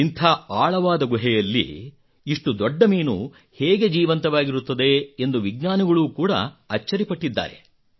ಇಂಥ ಆಳವಾದ ಗುಹೆಯಲ್ಲಿ ಇಷ್ಟು ದೊಡ್ಡ ಮೀನು ಹೇಗೆ ಜೀವಂತವಾಗಿರುತ್ತದೆ ಎಂದು ವಿಜ್ಞಾನಿಗಳು ಕೂಡಾ ಅಚ್ಚರಿಪಟ್ಟಿದ್ದಾರೆ